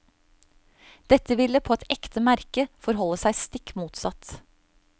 Dette ville på et ekte merke forholde seg stikk motsatt.